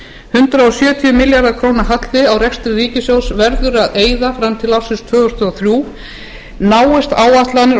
hundrað sjötíu milljarða króna halli á rekstri ríkissjóðs verður að eyða fram til ársins tvö þúsund og þrjú náist áætlanir